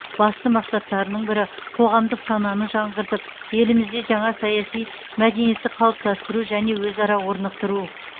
басты мақсаттарының бірі қоғамдық сананы жаңғыртып елімізде жаңа саяси мәдениетті қалыптастыру және өзара орнықтыру